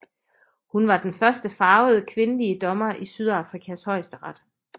Hun var den første farvede kvindelige dommer i Sydafrikas Højesteret